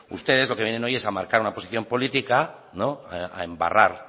ustedes lo que vienen hoy es a marcar una posición política a embarrar